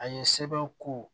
A ye sɛbɛnw ko